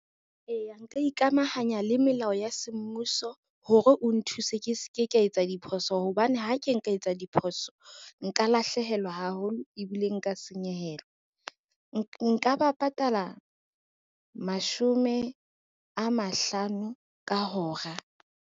Eya nka ikamahanya le melao ya semmuso hore o nthuse ke se ke ka etsa diphoso hobane ha ke nka etsa diphoso, nka lahlehelwa haholo ebile nka senyehelwa. Nka ba patala mashome a mahlano ka hora.